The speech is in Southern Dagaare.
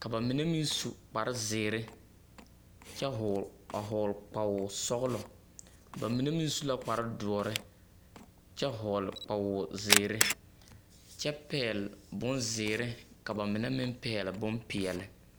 ka ba mine meŋ su kpare zeere kyԑ vͻgele a vͻgele kpawoo sͻgelͻ, ka ba mine meŋ su kpare dõͻre kyԑ vͻgele kpwoozeere kyԑ pԑgele bonzeere ka ba mine meŋ pͻgele bompeԑle.